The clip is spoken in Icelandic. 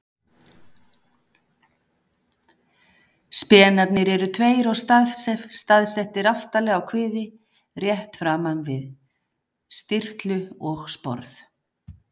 Spenarnir eru tveir og staðsettir aftarlega á kviði, rétt framan við stirtlu og sporð.